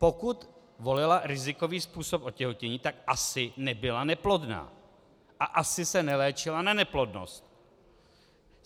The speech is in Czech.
Pokud volila rizikový způsob otěhotnění, tak asi nebyla neplodná a asi se neléčila na neplodnost.